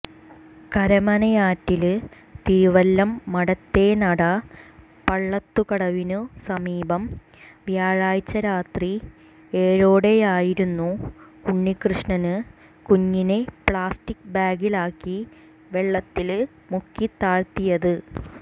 കരമനയാറ്റില് തിരുവല്ലം മഠത്തേനട പള്ളത്തുക്കടവിനു സമീപം വ്യാഴാഴ്ച രാത്രി ഏഴോടെയായിരുന്നു ഉണ്ണികൃഷ്ണന് കുഞ്ഞിനെ പ്ലാസ്റ്റിക് ബാഗിലാക്കി വെള്ളത്തില് മുക്കിത്താഴ്ത്തിയത്